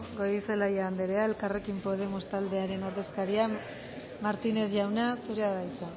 goirizelaia andrea elkarrekin podemos taldearen ordezkaria martínez jauna zurea da hitza